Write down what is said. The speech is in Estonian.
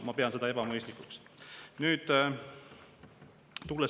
Ma pean seda ebamõistlikuks.